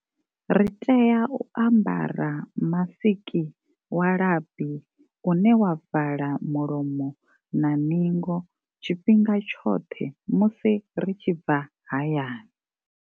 Ri tea u ambara masiki wa labi une wa vala mulomo na ningo tshifhinga tshoṱhe musi ri tshi bva hayani.